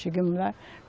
Chegamos lá.